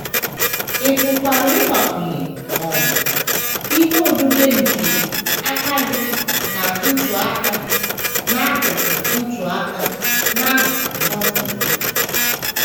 Ị pụkwara ịgbakwụnye um ihe odide nke aka gị na ntụaka n’akụkụ ntụaka n’akụkụ Novel gị.